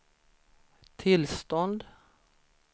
tillstånd